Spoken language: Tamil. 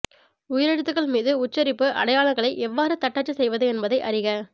உயிரெழுத்துகள் மீது உச்சரிப்பு அடையாளங்களை எவ்வாறு தட்டச்சு செய்வது என்பதை அறிக